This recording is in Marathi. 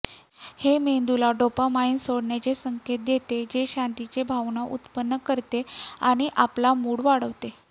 हे मेंदूला डोपामाइन सोडण्याचे संकेत देते जे शांततेची भावना उत्पन्न करते आणि आपला मूड वाढवते